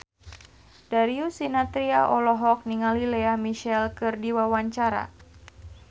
Darius Sinathrya olohok ningali Lea Michele keur diwawancara